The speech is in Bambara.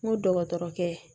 N ko dɔgɔtɔrɔkɛ ye